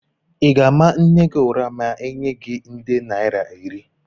Ị ga-ama nne gị ụra ma enye gi nde naira iri?